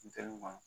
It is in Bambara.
Funteni ma